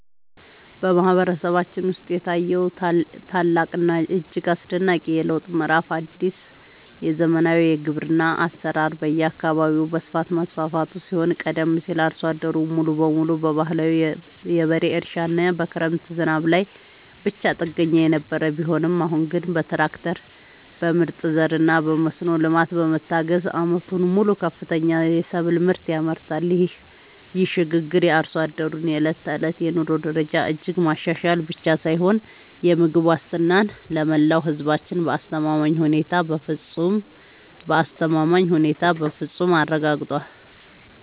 በማህበረሰባችን ውስጥ የታየው ታላቅና እጅግ አስደናቂ የለውጥ ምዕራፍ አዲስ የዘመናዊ ግብርና አሰራር በየአካባቢው በስፋት መስፋፋቱ ሲሆን ቀደም ሲል አርሶ አደሩ ሙሉ በሙሉ በባህላዊ የበሬ እርሻና በክረምት ዝናብ ላይ ብቻ ጥገኛ የነበረ ቢሆንም አሁን ግን በትራክተር፣ በምርጥ ዘርና በመስኖ ልማት በመታገዝ ዓመቱን ሙሉ ከፍተኛ የሰብል ምርት ያመርታል። ይህ ሽግግር የአርሶ አደሩን የዕለት ተዕለት የኑሮ ደረጃ እጅግ ማሻሻል ብቻ ሳይሆን የምግብ ዋስትናን ለመላው ህዝባችን በአስተማማኝ ሁኔታ በፍፁም አረጋግጧል።